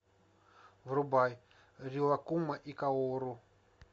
врубай рилаккума и каору